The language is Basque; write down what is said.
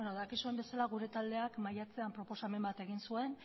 dakizuen bezala gure taldeak maiatzean proposamen bat egin zuen